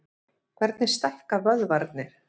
Hvernig stækka vöðvarnir?